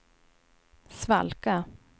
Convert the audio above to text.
svalka